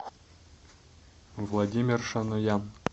владимир шаноян